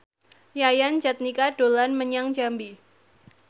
Yayan Jatnika dolan menyang Jambi